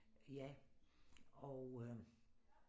Ja og øh